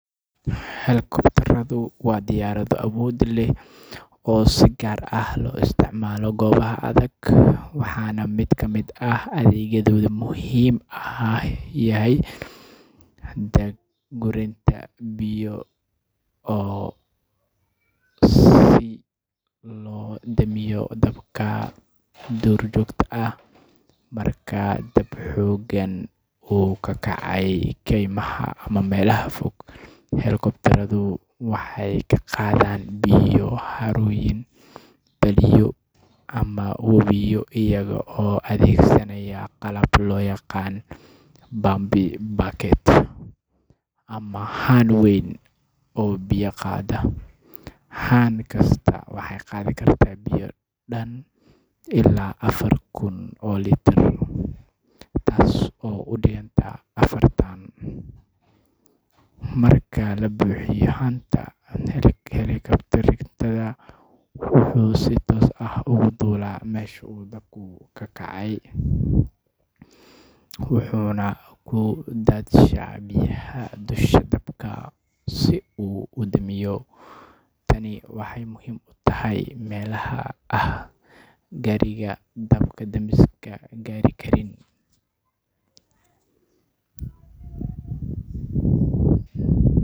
Helikobtarradu waa diyaarado awood leh oo si gaar ah loogu adeegsado meelaha adag iyo xaaladaha degdegga ah. Mid ka mid ah adeegyada muhiimka ah ee ay qabtaan waa daad-gurinta biyaha si loo damiyo dabka, gaar ahaan marka uu dab xooggan ka kaco kaymaha ama meelaha fog ee aan si sahal ah loogu gaari karin gaadiidka dab-damiska caadiga ah. Helikobtarradu waxay biyo ka qaadaan xarumo biyo leh sida balliyo, wabiyo, ama harooyin, iyagoo adeegsada qalab gaar ah oo loo yaqaan pump bucket ama haan weyn oo loogu talagalay qaadista biyaha. Haan kastaa waxay qaadi kartaa ilaa afar kun oo litir oo biyo ah, taasoo u dhiganta afar tons marka la buuxiyo. Marka haanta biyaha la buuxiyo, helikobtarku wuxuu si toos ah ugu duulaa meesha uu dabku ka kacay, wuxuuna ku daadshaa biyaha dusha sare ee dabka si uu u yareeyo ama u damiyo. Habkani wuxuu si gaar ah muhiim ugu yahay meelaha aanay gaari karin baabuurta